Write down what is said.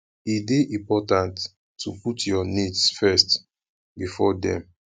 e de important to put your needs first before dem